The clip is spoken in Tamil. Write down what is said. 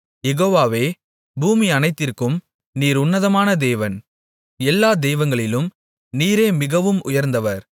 யெகோவாவே பூமி அனைத்திற்கும் நீர் உன்னதமான தேவன் எல்லா தெய்வங்களிலும் நீரே மிகவும் உயர்ந்தவர்